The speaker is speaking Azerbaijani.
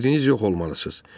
Biriniz yox olmalısız.